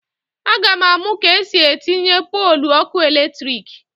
A ga m amụ ka esi etinye polụ ọkụ eletrik